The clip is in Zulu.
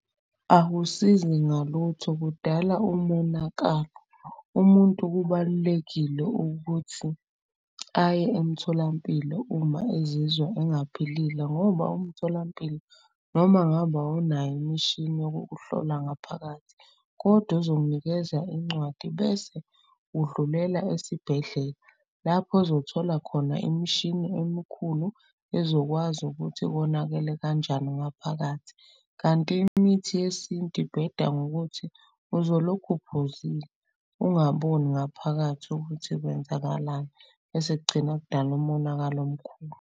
Akusizi ngalutho kudala umonakalo umuntu kubalulekile ukuthi aye emtholampilo uma ezizwa engaphilile. Ngoba umtholampilo noma ngabe awunayo imishini yokukuhlola ngaphakathi kodwa uzokunikeza incwadi. Bese udlulela esibhedlela lapho ozothola khona imishini emikhulu ezokwazi ukuthi konakele kanjani ngaphakathi. Kanti imithi yesintu ibheda ngokuthi uzolokhu uphuzile ungaboni ngaphakathi ukuthi kwenzakalani. Bese kugcina kudala umonakalo omkhulu.